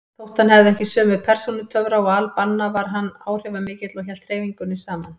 Þótt hann hefði ekki sömu persónutöfra og al-Banna var hann áhrifamikill og hélt hreyfingunni saman.